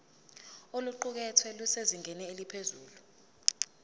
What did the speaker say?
oluqukethwe lusezingeni eliphezulu